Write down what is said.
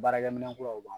Baarakɛminɛn kuraw b'an